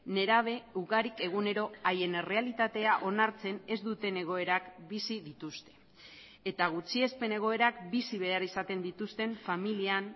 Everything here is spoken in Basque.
nerabe ugarik egunero haien errealitatea onartzen ez duten egoerak bizi dituzte eta gutxiespen egoerak bizi behar izaten dituzten familian